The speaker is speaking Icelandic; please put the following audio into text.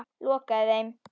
Lokaði þeim.